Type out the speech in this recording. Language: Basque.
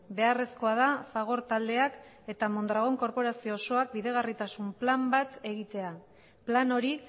beharrezkoa da fagor taldeak eta mondragón korporazio osoak bideragarritasun plan bat egitea plan hori